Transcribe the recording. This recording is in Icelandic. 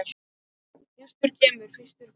Fyrstur kemur, fyrstur fær!